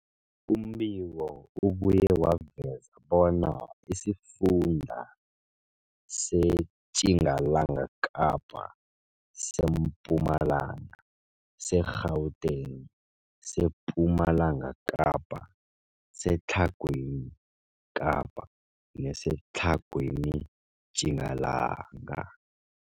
Umbiko ubuye waveza bona isifunda seTjingalanga Kapa, seMpumalanga, seGauteng, sePumalanga Kapa, seTlhagwini Kapa neseTlhagwini Tjingalanga.